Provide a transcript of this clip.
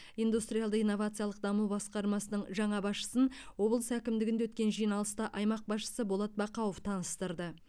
индустриалды инновациялық даму басқармасының жаңа басшысын облыс әкімдігінде өткен жиналыста аймақ басшысы болат бақауов таныстырды